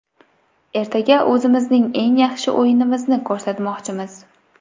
Ertaga o‘zimizning eng yaxshi o‘yinimizni ko‘rsatmoqchimiz.